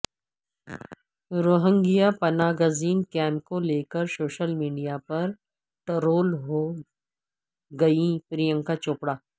Rohingya پناہ گزین camp کو لیکر سوشل میڈیا پر ٹرول ہو گئیں پرینکا چوپڑا